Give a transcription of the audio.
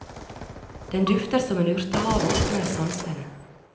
Den dufter som en urtehave og åpner sansene.